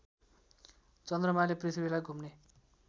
चन्द्रमाले पृथ्वीलाई घुम्ने